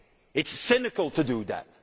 It is cynical to do that.